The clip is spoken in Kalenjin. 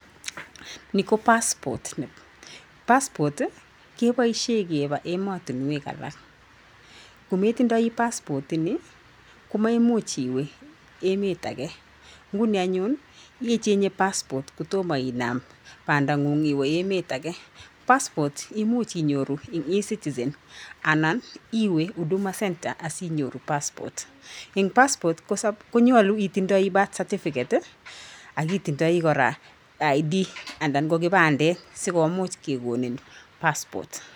Ni ko Passport. Passport, keboisyen kebaa emotinwek alak. Kometindoi passport ini, komeimuch iwe emet age. Nguni anyun, icheng'e passport kotomo inam bandang'ung' iwe emet age. Passport imuch inyoru en E-Citizen anan iwe Huduma Centre asinyoru Passport. En Passport, konyolu itindoi Birth Certificate ak itindoi koraa ID anan ko kipandet sikomuch kekonin Passport.